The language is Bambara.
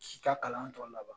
K'i ka kalan tɔ laban